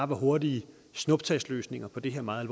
var hurtige snuptagsløsninger på det her meget